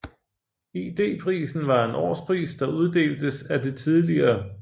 ID Prisen var en årspris der uddeltes af det tidl